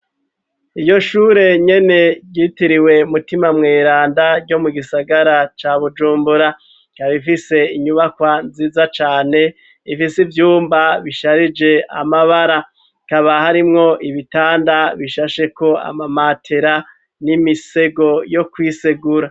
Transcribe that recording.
Iryo shure nyene ryitiriwe mutima muiranda ryo mu gisagara ca bujumbura kabifise inyubakwa nziza cane ifise ivyumba bisharije amabara hakaba harimwo ibitanda bishasheko amamatera n'imisego yo kwisegura.